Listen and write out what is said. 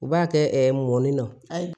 U b'a kɛ mɔni na ayi